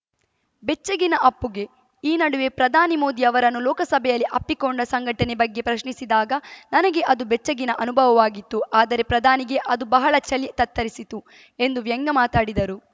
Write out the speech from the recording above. ಬೆಚ್ಚಿಗಿನ ಅಪ್ಪುಗೆ ಈ ನಡುವೆ ಪ್ರಧಾನಿ ಮೋದಿ ಅವರನ್ನು ಲೋಕಸಭೆಯಲ್ಲಿ ಅಪ್ಪಿಕೊಂಡ ಸಂಘಟನೆ ಬಗ್ಗೆ ಪ್ರಶ್ನಿಸಿದಾಗ ನನಗೆ ಅದು ಬೆಚ್ಚಿಗಿನ ಅನುಭವಾಗಿತ್ತು ಆದರೆ ಪ್ರಧಾನಿಗೆ ಅದು ಬಹಳ ಚಳಿ ತತ್ತರಿಸಿತ್ತು ಎಂದು ವ್ಯಂಗ್ಯಮಾತಾಡಿದರು